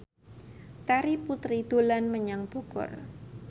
Terry Putri dolan menyang Bogor